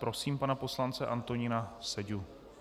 Prosím pana poslance Antonína Seďu.